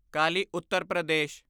Kali Uttar Pradesh